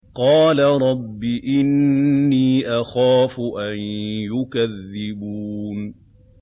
قَالَ رَبِّ إِنِّي أَخَافُ أَن يُكَذِّبُونِ